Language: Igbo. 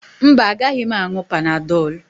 Mba, agaghị m aṅụ Panadọlụ.